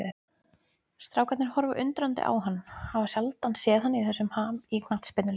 Strákarnir horfa undrandi á hann, hafa sjaldan séð hann í þessum ham í knattspyrnuleik.